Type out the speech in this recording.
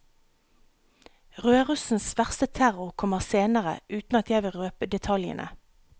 Rødrussens verste terror kommer senere, uten at jeg vil røpe detaljene.